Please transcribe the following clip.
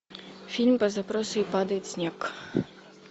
фильм по запросу и падает снег